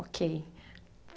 Ok.